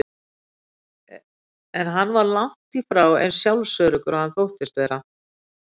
En hann var langt í frá eins sjálfsöruggur og hann þóttist vera.